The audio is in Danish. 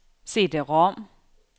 CD-rom